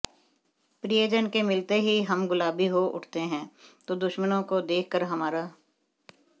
प्रियजन के मिलते ही हम गुलाबी हो उठते हैं तो दुश्मनों को देखकर हमारा